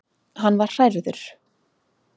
Hann var hrærður.